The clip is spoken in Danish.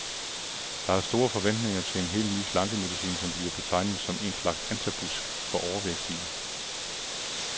Der er store forventninger til en helt ny slankemedicin, som bliver betegnet som en slags antabus for overvægtige.